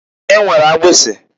E nwere akpịsị.